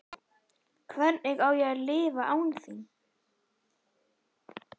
Hvernig á ég að lifa án þín?